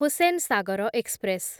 Hussain Sagar express